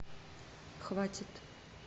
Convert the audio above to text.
хватит